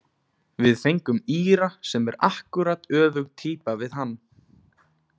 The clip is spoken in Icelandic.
Við fengum Íra sem er akkúrat öfug týpa við hann.